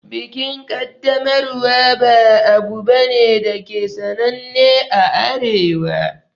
Bikin Kaddamarwa ba abu bane dake sananne a Arewa